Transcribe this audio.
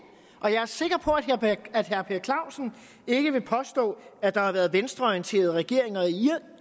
og jeg er sikker på at herre per clausen ikke vil påstå at der har været venstreorienterede regeringer